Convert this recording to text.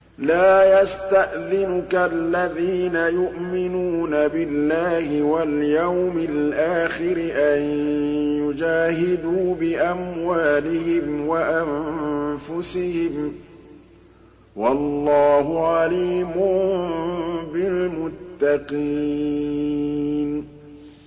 لَا يَسْتَأْذِنُكَ الَّذِينَ يُؤْمِنُونَ بِاللَّهِ وَالْيَوْمِ الْآخِرِ أَن يُجَاهِدُوا بِأَمْوَالِهِمْ وَأَنفُسِهِمْ ۗ وَاللَّهُ عَلِيمٌ بِالْمُتَّقِينَ